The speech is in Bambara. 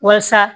Walasa